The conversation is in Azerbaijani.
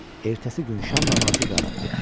Ertəsi gün şam namazı qayıtdı.